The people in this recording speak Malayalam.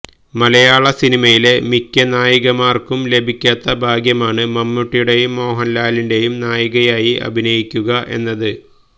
മലയാള സിനിമയിലെ മിക്ക നായികമാർക്കും ലഭിക്കാത്ത ഭാഗ്യമാണ് മമ്മൂട്ടിയുടേയും മോഹൻലാലിന്റേയും നായികയായി അഭിനയിക്കുക എന്നത്